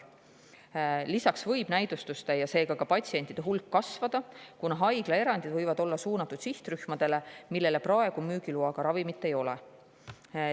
Lisaks võib näidustuste ja seega ka patsientide hulk kasvada, kuna haiglaerandid võivad olla suunatud sihtrühmadele, kelle jaoks praegu müügiloaga ravimit ei ole.